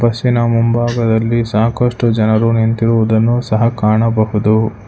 ಬಸ್ಸಿನ ಮುಂಭಾಗದಲ್ಲಿ ಸಾಕಷ್ಟು ಜನರು ನಿಂತಿರುವುದನ್ನು ಸಹ ಕಾಣಬಹುದು.